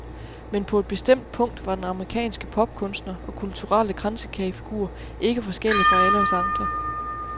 Men på et bestemt punkt var den amerikanske popkunstner og kulturelle kransekagefigur ikke forskellig fra alle os andre.